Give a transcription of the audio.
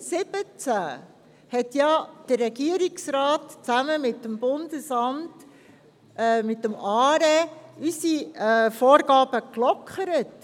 2017 hat der Regierungsrat zusammen mit dem ARE unsere Vorgaben gelockert.